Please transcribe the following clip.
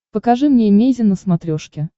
покажи мне эмейзин на смотрешке